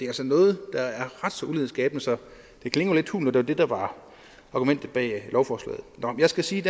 altså noget der er ret så ulighedsskabende så det klinger lidt hult når det var det der var argumentet bag lovforslaget nå jeg skal sige at